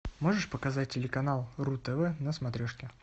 можешь показать телеканал ру тв на смотрешке